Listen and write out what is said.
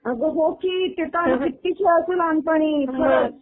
अगं हो की ते काय कित्ती खेळायचो लहानपणी